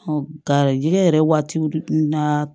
kari jɛgɛ yɛrɛ waatiw na